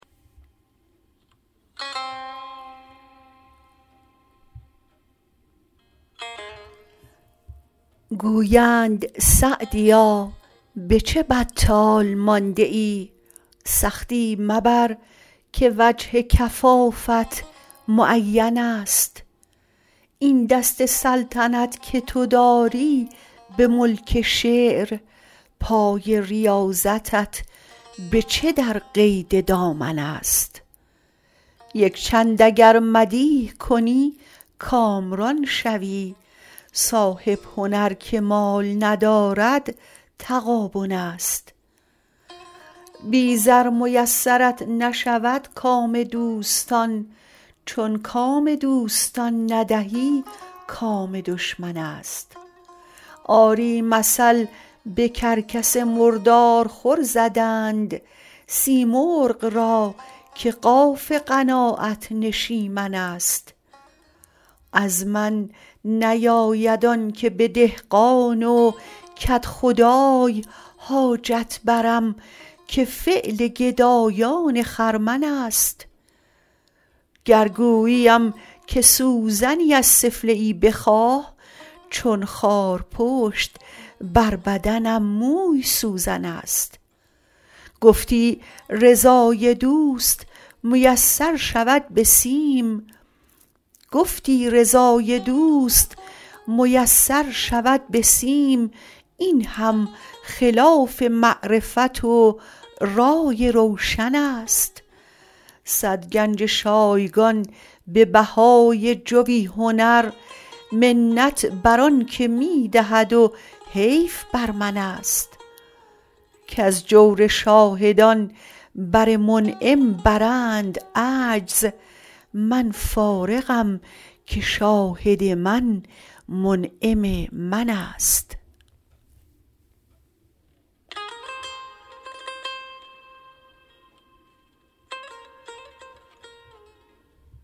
گویند سعدیا به چه بطال مانده ای سختی مبر که وجه کفافت معینست این دست سلطنت که تو داری به ملک شعر پای ریاضتت به چه در قید دامنست یکچند اگر مدیح کنی کامران شوی صاحب هنر که مال ندارد تغابنست بی زر میسرت نشود کام دوستان چون کام دوستان ندهی کام دشمنست آری مثل به کرکس مردارخور زدند سیمرغ را که قاف قناعت نشیمنست از من نیاید آنکه به دهقان و کدخدای حاجت برم که فعل گدایان خرمنست گر گوییم که سوزنی از سفله ای بخواه چون خارپشت بر بدنم موی سوزنست گفتی رضای دوست میسر شود به سیم این هم خلاف معرفت و رای روشنست صد گنج شایگان به بهای جوی هنر منت بر آنکه می دهد و حیف بر منست کز جور شاهدان بر منعم برند عجز من فارغم که شاهد من منعم منست